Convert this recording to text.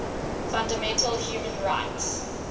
fundamental human rights